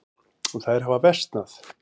Þær hafa versnað.